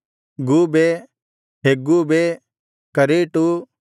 ಗೂಬೆ ಹೆಗ್ಗೂಬೆ ಕರೇಟು